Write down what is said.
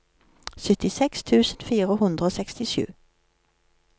syttiseks tusen fire hundre og sekstisju